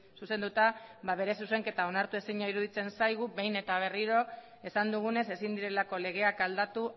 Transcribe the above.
zuzenduta bere zuzenketa onartu ezina iruditzen zaigu behin eta berriro esan dugunez ezin direlako legeak aldatu